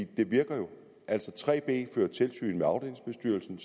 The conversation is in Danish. det virker jo 3b fører tilsyn med afdelingsbestyrelsen